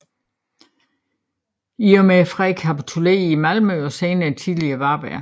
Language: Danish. I og med freden kapitulerede Malmø og senere tillige Varberg